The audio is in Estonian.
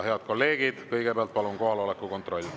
Head kolleegid, kõigepealt palun kohaloleku kontroll.